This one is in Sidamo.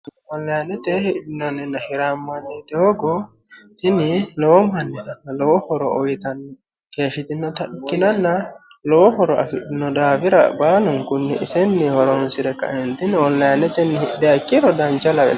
onilayinete hidhinanninna hirammanni doogo tini lowo mannira lowo horo uyitanni keeshshitinota ikkitanna lowo horo afidhino daafra baalunkunni isenni horonsire kaeentinni onlinetenni hidhiha ikkiro dancha lawanno.